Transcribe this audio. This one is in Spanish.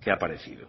que ha aparecido